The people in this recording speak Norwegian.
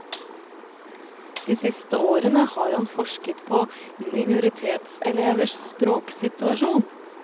De siste årene har han forsket på minoritetselevers språksituasjon.